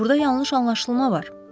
Burda yanlış anlaşılma var.